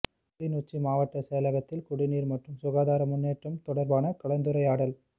கிளிநொச்சி மாவட்ட செயலகத்தில் குடிநீர் மற்றும் சுகாதார முன்னேற்றம் தொடர்பான கலந்துரையாடல்